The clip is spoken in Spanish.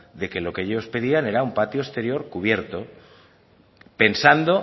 de que lo que ellos pedían era un patio exterior cubierto pensando